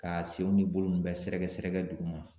Ka senw ni bolo nunnu bɛɛ sɛrɛkɛ sɛrɛkɛ duguma